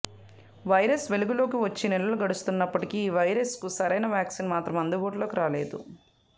virus వెలుగులోకి వచ్చి నెలలు గడుస్తున్నప్పటికీ ఈ వైరస్కు సరైనా వాక్సిన్ మాత్రం అందుబాటులోకి రాలేదు